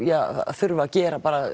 þurfi að gera bara